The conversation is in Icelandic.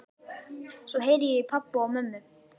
Svo heyri ég í pabba og mömmu.